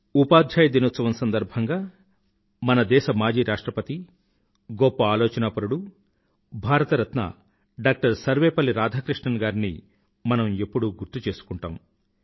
ఉపాధ్యాయ దీనోత్సవం సందర్భంగా మన దేశ మాజీ రాష్ట్రపతి గొప్ప ఆలోచనాపరుడు భారతరత్న డాక్టర్ సర్వేపల్లి రాధాకృష్ణన్ గారిని మనం ఎప్పుడూ గుర్తుచేసుకుంటాము